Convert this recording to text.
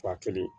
Ba kelen